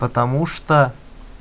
потому что